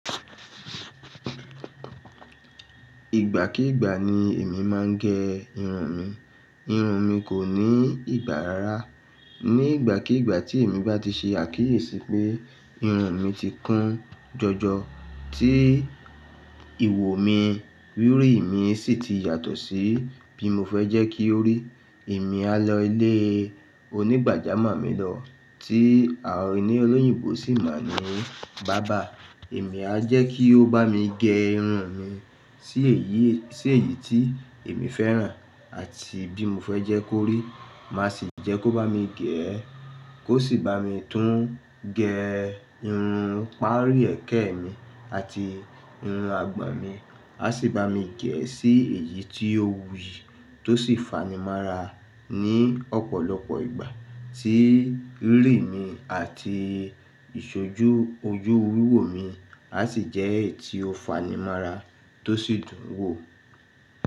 Ìgbàkígbà ni èmi máa ń gẹ irun mi. Irun mi kò ní ìgbà rárá. Ní ìgbàkígbà tí èmi bá ti ṣe àkíyèsí pé irun mi ti kún jọjọ. Tí ìwò mi, rírí mi sì ti yàtọ̀ sí bí mo fẹ́ jẹ́ kí ó rí, èmi á lọ ilé onígbàjámọ̀ mi lọ tí àwọn olóyìnbó sì mọ̀ ní barber. Èmi á jẹ́ kí ó bá mi gẹ́ irun mi sí èyí, sí èyí tí èmi fẹ́ràn àti bí mo fẹ́ jẹ́ kó rí. Màá sì jẹ́ kó bá mi gẹ̀ ẹ́, kó sì bá mi tún gẹ irun pàárí ẹ̀kẹ́ mi àti irun àgbọ̀n mi. Á sì bá mi gẹ̀ ẹ́ sí èyí tí ó wuyì tó sì fanimára ní ọ̀pọ̀lọpọ̀ ìgbà tí rírí mi àti ìṣojú ojú wíwò mi a sì jẹ́ èyí tí ó fanimára tó sì dùn wò.